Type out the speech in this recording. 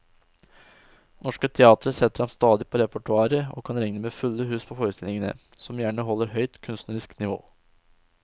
Norske teatre setter ham stadig på repertoaret og kan regne med fulle hus på forestillingene, som gjerne holder høyt kunstnerisk nivå.